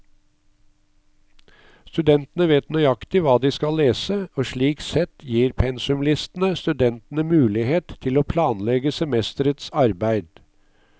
Studentene vet nøyaktig hva de skal lese, og slik sett gir pensumlistene studentene mulighet til å planlegge semesterets arbeid.